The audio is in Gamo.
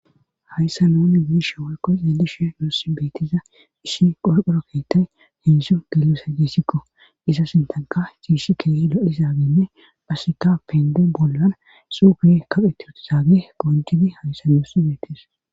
Hayssa nooni giish wolko edishe noosi beetiza ishi qolqoro keetay henshu gilosa gissikko iza sintanka ciishi keye lalizaagenne basseka pende bollan suufiye kapheti utizaage poncidi hayssa doosi beetis.